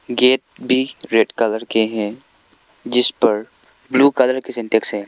Gate भी red colour के हैं जिस पर ब्लू कलर के सिंटेक्स है।